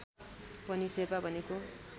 पनि शेर्पा भनेको